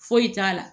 Foyi t'a la